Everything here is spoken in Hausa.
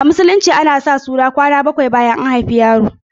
A Musulunci ana yin bikin sa suna kwana bakwai bayan an haifi yaro.